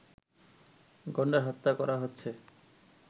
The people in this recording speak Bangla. গণ্ডার হত্যা করা হচ্ছে